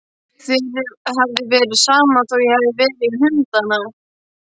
Þér hefði verið sama þó ég hefði farið í hundana.